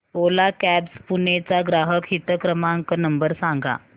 ओला cabs Pune चा ग्राहक हित क्रमांक नंबर सांगा